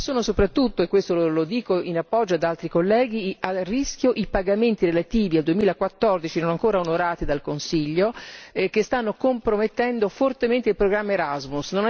Ma sono soprattutto e questo lo dico in appoggio ad altri colleghi a rischio i pagamenti relativi al 2014 non ancora onorati dal Consiglio che stanno compromettendo fortemente il programma Erasmus.